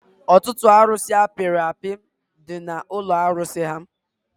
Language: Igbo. Ọtụtụ arusi apiri api dị n'ụlọ arụsi ahụ